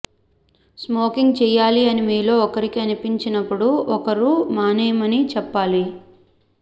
smoking చేయాలి అని మీలో ఒకరికి అనిపించినపుడు ఒకరు మానేయమని చెప్పాలి